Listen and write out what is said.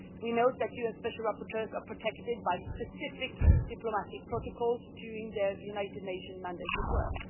We note that UN special rapporteurs are protected by specific diplomatic protocols during their United Nations mandated work.